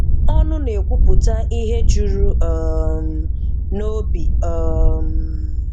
Ọnụ na-ekwupụta ihe jụrụ um n'obi um